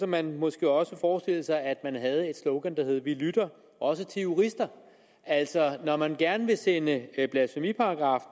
man måske også forestille sig at man havde et slogan der hed vi lytter også til jurister altså når man gerne vil sende blasfemiparagraffen